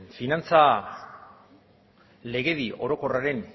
finantza legedi orokorraren